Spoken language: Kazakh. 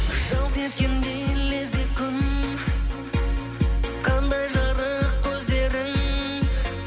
жалт еткендей лезде күн қандай жарық көздерің